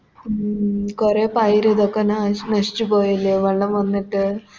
ഉം കൊറേ പയര് ഇതൊക്കെ ന നശിച്ച് പോയല്ലേ വെള്ളം വന്നിട്ട്